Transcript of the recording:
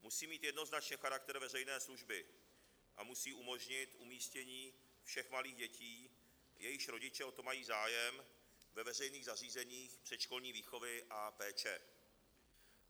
Musí mít jednoznačně charakter veřejné služby a musí umožnit umístění všech malých dětí, jejichž rodiče o to mají zájem, ve veřejných zařízeních předškolní výchovy a péče.